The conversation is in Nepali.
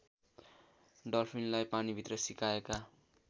डल्फिनलाई पानीभित्र सिकाएका